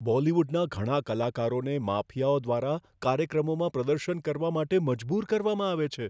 બોલિવૂડના ઘણા કલાકારોને માફિયાઓ દ્વારા કાર્યક્રમોમાં પ્રદર્શન કરવા માટે મજબૂર કરવામાં આવે છે.